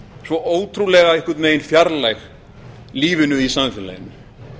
svo ótrúlega einhvern veginn fjarlæg lífinu í samfélaginu